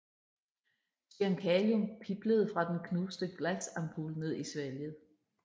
Cyankalium piblede fra den knuste glasampul ned i svælget